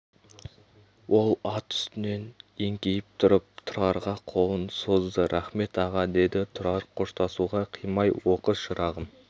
ол ат үстінен еңкейіп тұрып тұрарға қолын созды рақмет аға деді тұрар қоштасуға қимай оқы шырағым